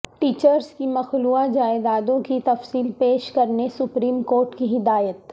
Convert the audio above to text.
teachers کی مخلوعہ جائیدادوں کی تفصیل پیش کرنے سپریم کورٹ کی ہدایت